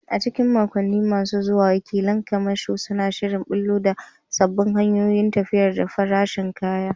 A cikin makonni masu zuwa, wakilan kamasho suna shirin ɓullo da sabbin hanyoyin tafiyar da farashin kaya.